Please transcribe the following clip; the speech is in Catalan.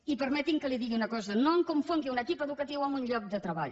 i permeti’m que li digui una cosa no em confongui un equip educatiu amb un lloc de treball